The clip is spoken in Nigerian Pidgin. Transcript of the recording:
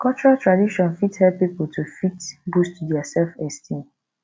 cultural tradition fit help pipo to fit boost their self esteem